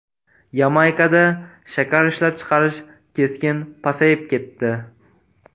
Yamaykada shakar ishlab chiqarish keskin pasayib ketdi.